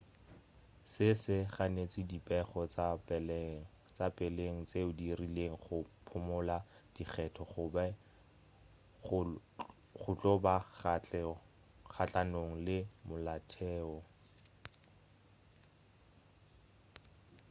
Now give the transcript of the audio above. se se ganetša dipego tša peleng tšeo di rilego go phumula dikgetho go be go tlo ba kgahlanong le molaotheo